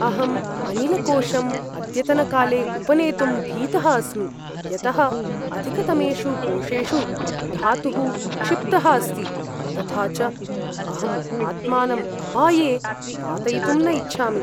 अहम् अनिलकोषम् अद्यतनकाले उपानेतुं भीतः अस्मि यतः अधिकतमेषु कोषेषु धातुः क्षिप्तः अस्ति। तथा च अहम् आत्मानं अपाये पातयितुं न इच्छामि।